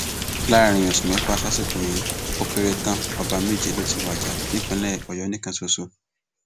láàrin oṣù mẹfà sásìkò yìí ó kéré tán ọba méje ló ti wájà nípìnlẹ ọyọ nìkan ṣoṣo